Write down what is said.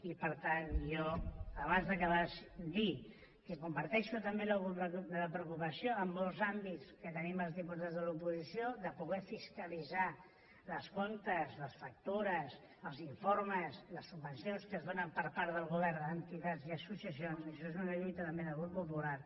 i per tant jo abans d’acabar dir que comparteixo també la preocupació en molts àmbits que tenim els diputats de l’oposició de poder fiscalitzar els comptes les factures els informes les subvencions que es donen per part del govern a entitats i associacions això és una lluita també del grup popular